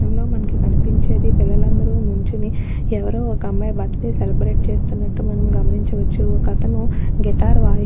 చిత్రంలో మనకి కనిపించేది పిల్లలందరూ నించోని ఎవ్వరో ఒక్క అమ్మాయి బర్త్డే సెలబ్రేట్ చేస్తున్నటు మనం గమనించవచ్చు. ఒక్కతను గిటార్ వాయి--